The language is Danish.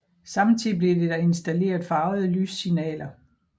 Samtidig blev der installeret farvede lyssignaler